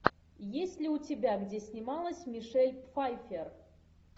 есть ли у тебя где снималась мишель пфайффер